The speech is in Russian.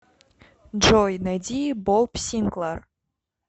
джой найди боб синклар